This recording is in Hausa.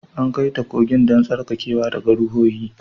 An kai ta kogin don tsarkakewa daga ruhohi